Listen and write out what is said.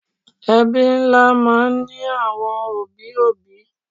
Ẹbí ńlá máa ń ní àwọn òbí òbí